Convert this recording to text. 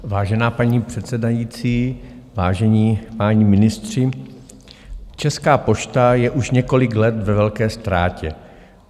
Vážená paní předsedající, vážení páni ministři, Česká pošta je už několik let ve velké ztrátě.